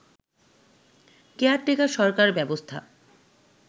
caretaker সরকার ব্যবস্থা